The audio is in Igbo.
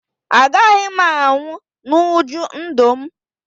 Agaghị m anwụ n'uju ndụ m